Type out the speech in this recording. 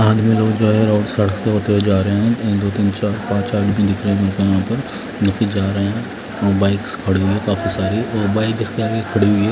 जितने लोग हैं यहां पर जा रहे हैं बाइक्स खड़ी है काफी सारी और एक बाइक इसके आगे खड़ी हुई है।